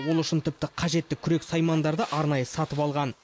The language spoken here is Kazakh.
ол үшін тіпті қажетті күрек саймандарды арнайы сатып алған